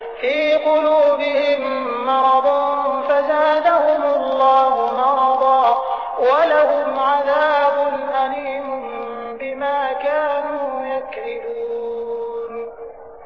فِي قُلُوبِهِم مَّرَضٌ فَزَادَهُمُ اللَّهُ مَرَضًا ۖ وَلَهُمْ عَذَابٌ أَلِيمٌ بِمَا كَانُوا يَكْذِبُونَ